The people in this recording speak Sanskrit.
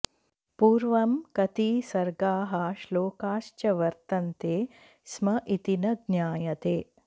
पूर्वं कति सर्गाः श्लोकास्च वर्तन्ते स्म इति न ज्ञायते